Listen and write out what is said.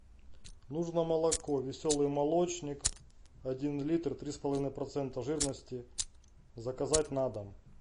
нужно молоко веселый молочник один литр три с половиной процента жирности заказать на дом